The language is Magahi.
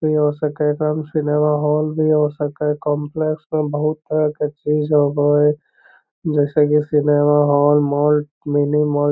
जैसे के एकरा में सिनेमा हॉल भी हो सका हई काम्प्लेक्स में बहुत तरह के चीज़ हई जैसे के cinema hall mall mini mall --